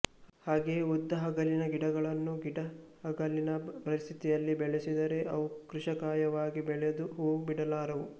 ಹಾಗೆಯೇ ಉದ್ದ ಹಗಲಿನ ಗಿಡಗಳನ್ನು ಗಿಡ್ಡ ಹಗಲಿನ ಪರಿಸ್ಥತಿಯಲ್ಲಿ ಬೆಳೆಸಿದರೆ ಅವು ಕೃಶಕಾಯವಾಗಿ ಬೆಳೆದು ಹೂವು ಬಿಡಲಾರವು